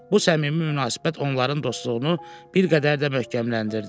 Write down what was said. Bu səmimi münasibət onların dostluğunu bir qədər də möhkəmləndirdi.